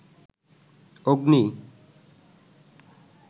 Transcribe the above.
অগ্নি